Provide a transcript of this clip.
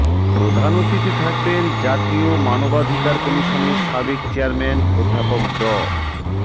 প্রধান অতিথি থাকবেন জাতীয় মানবাধিকার কমিশনের সাবেক চেয়ারম্যান অধ্যাপক ড